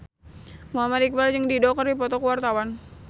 Muhammad Iqbal jeung Dido keur dipoto ku wartawan